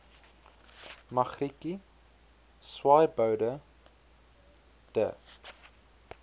magrietjie swaaiboude de